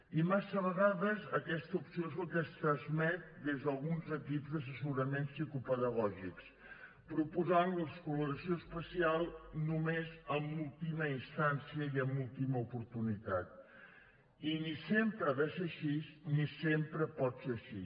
i massa vegades aquesta opció és el que es transmet des d’alguns equips d’assessorament psicopedagògic proposant l’escolarització especial només en última instància i en última oportunitat i ni sempre ha de ser així ni sempre pot ser així